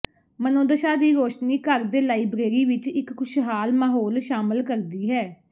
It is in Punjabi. ਮਨੋਦਸ਼ਾ ਦੀ ਰੋਸ਼ਨੀ ਘਰ ਦੇ ਲਾਇਬ੍ਰੇਰੀ ਵਿਚ ਇਕ ਖੁਸ਼ਹਾਲ ਮਾਹੌਲ ਸ਼ਾਮਲ ਕਰਦੀ ਹੈ